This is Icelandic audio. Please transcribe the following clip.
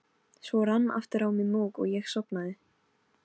Svo rann aftur á mig mók og ég sofnaði.